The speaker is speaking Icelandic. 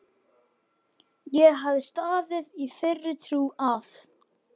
Ég hafði staðið í þeirri trú að